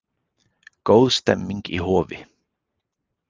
Góð stemning í Hofi